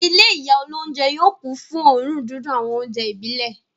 Ilé ìyá olóúnjẹ yóò kún fún òórùn dídùn àwọn oúnjẹ ìbílẹ̀.